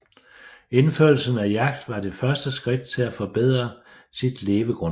Indførelsen af jagt var det første skridt til at forbedre sit levegrundlag